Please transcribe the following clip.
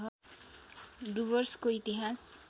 डुवर्सको इतिहास